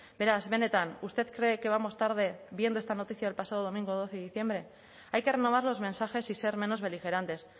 beraz benetan usted cree que vamos tarde viendo esta noticia del pasado domingo doce de diciembre hay que renovar los mensajes y ser menos beligerantes